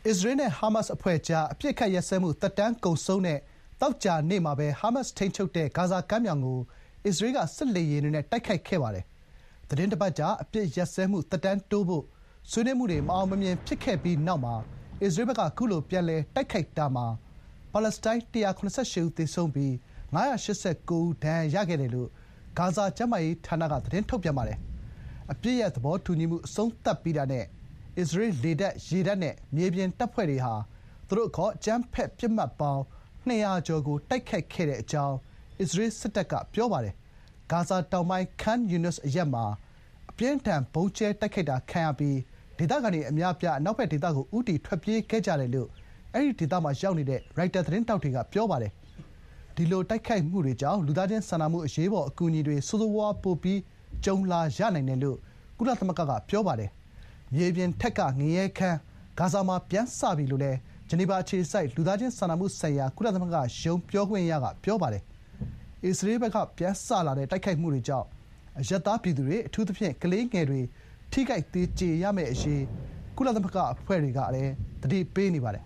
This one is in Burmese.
အစ္စရေး နဲ့ ဟာမတ်စ်အဖွဲ့ကြား အပစ်အခတ်ရပ်စဲမှု သက်တမ်းကုန်ဆုံးတဲ့ သောကြာနေ့မှာပဲ ဟာမတ်စ်ထိန်းချုပ်တဲ့ ဂါဇာကမ်းမြောင်ကို အစ္စရေးက စစ်လေယာဥ်တွေနဲ့ တိုက်ခိုက်ခဲ့ပါတယ်။ သီတင်းတပတ်ကြာ အပစ်ရပ်စဲမှု သက်တမ်းတိုးဖို့ ဆွေးနွေးမှုတွေ မအောင်မမြင် ဖြစ်ခဲ့ပြီးတဲ့နောက် အစ္စရေးဘက်က ခုလို ပြန်လည် တိုက်ခိုက်တာမှာ ပါလက်စတိုင်း ၁၇၈ ဦး သေဆုံးပြီး ၅၈၉ ယောက် ဒဏ်ရာရ ခဲ့တယ်လို့ ဂါဇာ ကျန်းမာရေးဌာနက ထုတ်ပြန်ပါတယ်။ အပစ်ရပ် သဘောတူညီမှု အဆုံးသတ်ပြီးတာနဲ့ အစ္စရေး လေတပ်၊ ရေတပ်နဲ့ မြေပြင်တပ်ဖွဲ့တွေဟာ သူတို့အခေါ် အကြမ်းဖက်ပစ်မှတ်ပေါင်း ၂၀၀ ကျော်ကို တိုက်ခိုက်ခဲ့တဲ့အကြောင်း အစ္စရေး စစ်တပ်က ပြောပါတယ်။ ဂါဇာတောင်ပိုင်း Khan Younis အရပ်မှာ အပြင်းအထန် ဗုံးကြဲ တိုက်ခိုက်တာ ခံရပြီး ဒေသခံတွေ အများအပြား အနောက်ဘက်ဒေသကို ဦးတည် ထွက်ပြေးခဲ့ကြတယ်လို့ အဲ့ဒီဒေသမှာရှိတဲ့ ရိုက်တာ သတင်းထောက်တွေက ပြောပါတယ်။ ဒီလို တိုက်ခိုက်မှုတွေကြောင့် လူသားချင်းစာနာမှု အရေးပေါ် အကူအညီတွေ ဆိုးဆိုးရွားရွား ပိုပြီး ကြုံလာရနိုင်တယ်လို့ ကုလသမဂ္ဂက ပြောပါတယ်။ မြေပြင်ထက်က ငရဲခန်း ဂါဇာမှာ ပြန်စပြီ − လို့ ဂျနီဗာအခြေစိုက် လူသားချင်းစာနာမှုဆိုင်ရာ ကုလသမဂ္ဂရုံး ပြောခွင့်ရ Jens Laerke က ပြောပါတယ်။ အစ္စရေးဘက်က ပြန်စလာတဲ့ တိုက်ခိုက်မှုတွေကြောင့် အရပ်သားပြည်သူတွေ၊ အထူးသဖြင့် ကလေးငယ်တွေ ထိခိုက် သေကြေရမယ့်အရေး ကုလသမဂ္ဂ အဖွဲ့တွေက သတိပေးနေပါတယ်